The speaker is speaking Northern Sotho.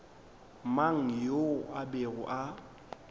mang yo a bego a